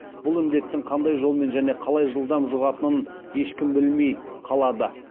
бұл індеттің қандай жолмен және қалай жылдам жұғатынын ешкім білмей қалады